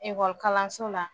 Ekɔli kalanso la